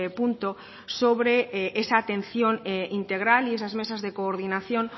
punto sobre esa atención integral y esas mesas de coordinación